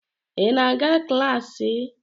Ị na-aga klaasị?